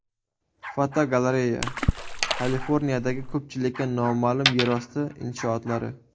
Fotogalereya: Kaliforniyadagi ko‘pchilikka noma’lum yerosti inshootlari.